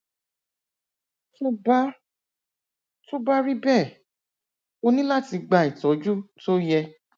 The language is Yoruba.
tó bá tó bá rí bẹẹ o ní láti gba ìtọjú tó yẹ